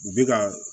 U bɛ ka